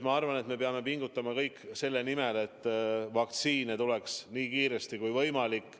Ma arvan, et me kõik peame pingutama selle nimel, et vaktsiin tuleks nii kiiresti kui võimalik.